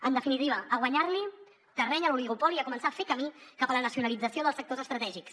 en definitiva a guanyar li terreny a l’oligopoli i a començar a fer camí cap a la nacionalització dels sectors estratègics